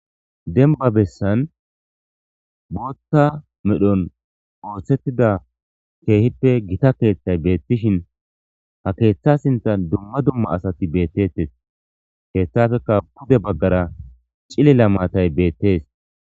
Demba bessan bootta medhon ooththettida keehippe gita keeththay beettishin ha keeththa sinthan dumma dumma asati beettettes keeththafeka bude baggara cilila maatay beettes.